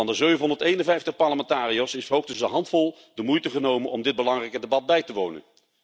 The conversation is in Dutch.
Van de 751 parlementariërs heeft hoogstens een handvol de moeite genomen om dit belangrijke debat bij te wonen.